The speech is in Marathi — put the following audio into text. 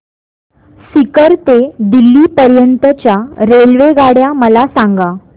सीकर ते दिल्ली पर्यंत च्या रेल्वेगाड्या मला सांगा